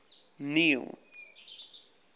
neil